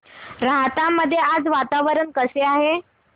राहता मध्ये आज वातावरण कसे आहे